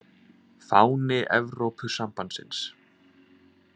Fáni Evrópusambandsins.